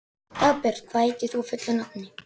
Dagbjört, hvað heitir þú fullu nafni?